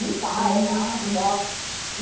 Limpar, é mato e tal.